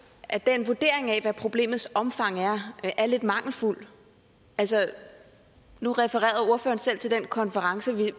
at den vurdering af hvad problemets omfang er er lidt mangelfuld nu refererede ordføreren selv til den konference vi